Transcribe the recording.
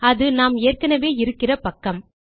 அது நாம் ஏற்கெனெவே இருக்கிற பக்கம்